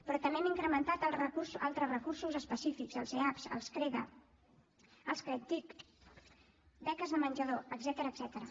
però també hem incrementat altres recursos específics els eap els creda els credtic beques de menjador etcètera